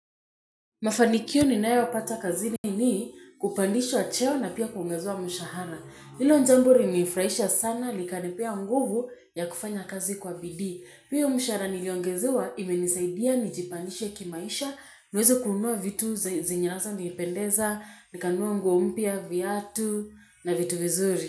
Mafanikio ninayopata kazini ni kupandishwa cheo na pia kuongezewa mshahara. Hilo jambo lilinifurahisha sana likanipea nguvu ya kufanya kazi kwa bidii. Pia mshahara niliongezewa imenisaidia nijipandishe kimaisha, niweze kununua vitu zenye hasa nilipendeza, nikanunua nguo mpya, viatu na vitu vizuri.